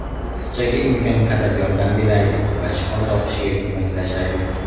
Qizchaga imkon qadar yordam beraylik va shifo topishiga ko‘maklashaylik!